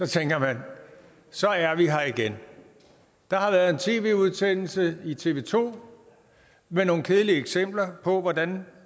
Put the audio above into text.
tænker man så er vi her igen der har været en tv udsendelse i tv to med nogle kedelige eksempler på hvordan